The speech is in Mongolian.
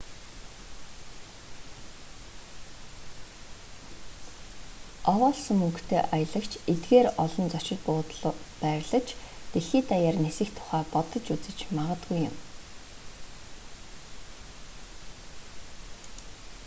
овоолсон мөнгөтэй аялагч эдгээр олон зочид буудалд байрлаж дэлхий даяар нисэх тухай бодож үзэж магадгүй юм